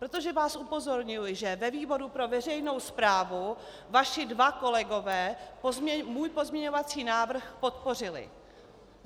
Protože vás upozorňuji, že ve výboru pro veřejnou správu vaši dva kolegové můj pozměňovací návrh podpořili.